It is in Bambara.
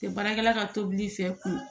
Tɛ baarakɛla ka tobili fɛ k'u